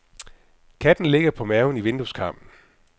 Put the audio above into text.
Katten ligger på maven i vindueskarmen.